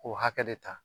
K'o hakɛ de ta